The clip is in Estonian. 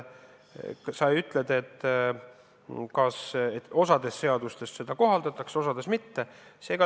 Sa ütlesid, et osas seadustes seda kohaldatakse, osas mitte.